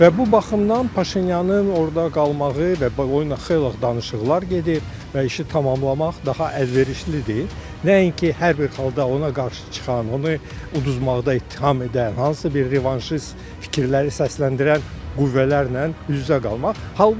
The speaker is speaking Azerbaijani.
Və bu baxımdan Paşinyanın orada qalmağı və xeyli danışıqlar gedir və işi tamamlamaq daha əlverişlidir, nəinki hər bir halda ona qarşı çıxan, onu uduzmaqda ittiham edən, hansısa bir revanşist fikirləri səsləndirən qüvvələrlə üz-üzə qalmaq.